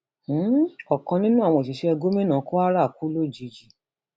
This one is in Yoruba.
um ọkan nínú àwọn òṣìṣẹ gómìnà kwara kú lójijì